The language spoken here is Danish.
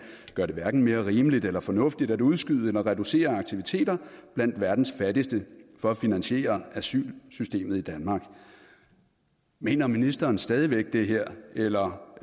gør det hverken mere rimeligt eller fornuftigt at udskyde eller reducere aktiviteter blandt verdens fattigste for at finansiere asylsystemet i danmark mener ministeren stadig væk det her eller